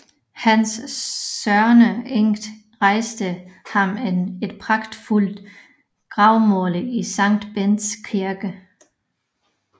Hans sørgende enke rejste ham et pragtfuldt gravmæle i Sankt Bendts Kirke